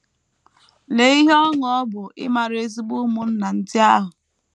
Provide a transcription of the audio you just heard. Lee ihe ọṅụ ọ bụ ịmara ezigbo ụmụnna ndị ahụ!